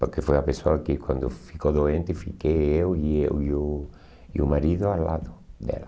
Porque foi a pessoa que quando ficou doente, fiquei eu e eu e o e o marido ao lado dela.